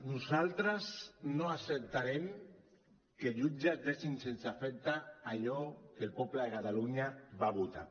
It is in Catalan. nosaltres no acceptarem que jutges deixin sense efecte allò que el poble de catalunya va votar